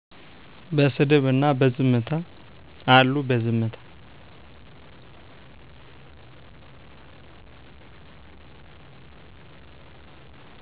በስድብ እና በዝምታ። አሉ በዝምታ